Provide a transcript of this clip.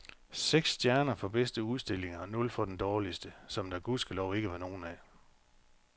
Seks stjerner for bedste udstilling og nul for den dårligste, som der gudskelov ikke var nogen af.